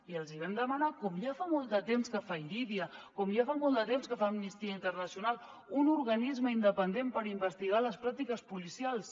i els ho vam demanar com ja fa molt de temps que fa irídia com ja fa molt de temps que fa amnistia internacional un organisme independent per investigar les pràctiques policials